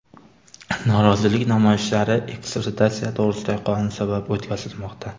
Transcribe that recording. Norozilik namoyishlari ekstraditsiya to‘g‘risidagi qonun sabab o‘tkazilmoqda.